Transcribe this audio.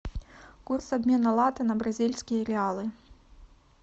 курс обмена лата на бразильские реалы